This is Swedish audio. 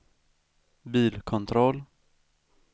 bilkontroll